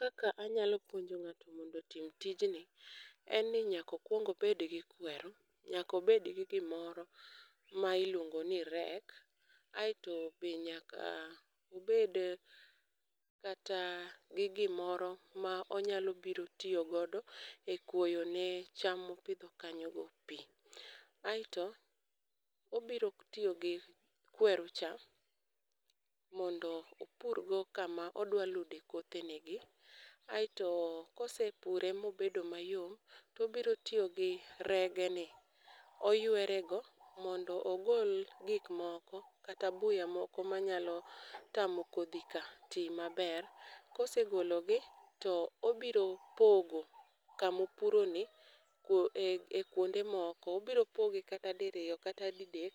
Kaka anyalo puonjo ng'ato mondo otim tijni, en ni nyaka okuong obed gi kweru. Nyaka obed gi gimoro ma iluongo ni rek, aeto be nyaka obed, kata gi gimoro ma onyalo biro tiyo godo ekuoyo ne cham mopidho kanyogo pi. Aeto, obiro tiyogi kweru cha mondo opurgo kama odwaludo kothene gi. Aeto kosepure mobedo mayom to obiro tiyogi rege ni oywere go mondo ogol gik moko, kata buya moko manyalo tamo kodhi ka ti maber. Kose gologi, to obiro pogo kamopuroni e, e kuonde moko. Obiro pogee kata diriyo kata didek